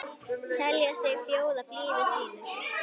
selja sig, bjóða blíðu sínu